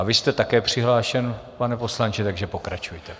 A vy jste také přihlášen, pane poslanče, takže pokračujte.